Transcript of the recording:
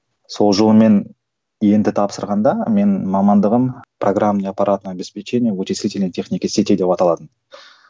сол жолы мен ент тапсырғанда менің мамандығым программное аппаратное обеспечение вычислительной техники сетей деп аталатын